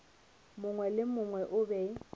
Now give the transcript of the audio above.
mongwe le mongwe o be